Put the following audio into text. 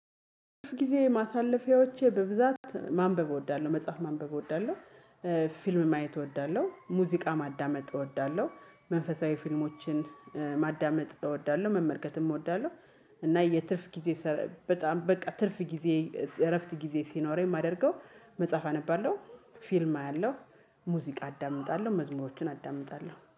ጊዜ ማሳለፊያዎቼ በብዛት ማንበብ እወዳለሁ መጽሐፍ ማንበብ እወዳለሁ። ፊልም ማየት እወዳለሁ ሙዚቃ ማዳመጥ እወዳለሁ። መንፈሳዊ ፊልሞችን ማዳመጥ እወዳለሁ መመልከትም እወዳለሁ። እና የትርፍ ጊዜ ስረ በጣም በቃ ትርፍ ጊዜ እረፍት ጊዜ ሲኖረኝ የማደርገው መጽሐፍ አነባለሁ። ፊልም አያለሁ። ሙዚቃ አዳምጣለሁ መዝሙሮቹን አዳምጣለሁ